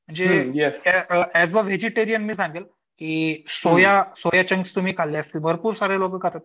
जे एज या व्हेजिटगेरीअन मी सांगेल की सोया सोया चंक्स तुम्ही खाल्ले असतील भरपूर सारे लोक खातात.